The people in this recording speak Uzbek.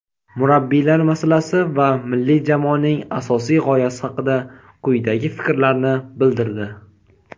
murabbiylar masalasi va milliy jamoaning asosiy g‘oyasi haqida quyidagi fikrlarni bildirdi.